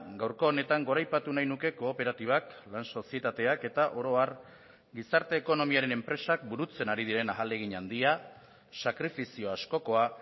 gaurko honetan goraipatu nahi nuke kooperatibak lan sozietateak eta oro har gizarte ekonomiaren enpresak burutzen ari diren ahalegin handia sakrifizio askokoa